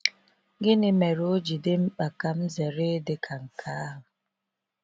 Gịnị mere o ji dị mkpa ka m zere ịdị ka nke ahụ?